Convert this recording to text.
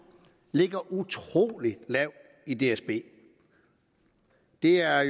ligger utrolig lavt i dsb det er